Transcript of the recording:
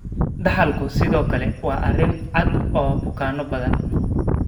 Dhaxalku sidoo kale waa arrin cad oo bukaanno badan.